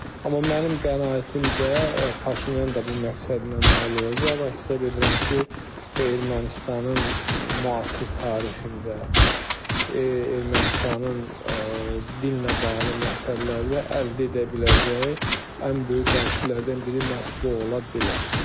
Amma mənim qənaətimcə Paşinyan da bu məqsədə nail olacaq və hesab edirəm ki, bu Ermənistanın müasir tarixində, Ermənistanın dillə bağlı məsələlərdə əldə edə biləcəyi ən böyük dəyişikliklərdən biri məhz bu ola bilər.